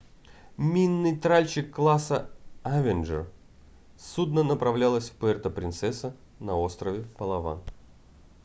минный тральщик класса авенджер судно направлялось в пуэрто-принсеса на острове палаван